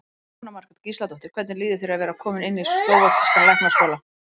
Jóhanna Margrét Gísladóttir: Hvernig líður þér að vera kominn inn í slóvakískan læknaskóla?